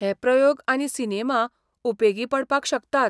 हे प्रयोग आनी सिनेमा उपेगी पडपाक शकतात.